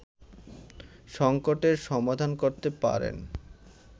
সংকটের সমাধান করতে পারেন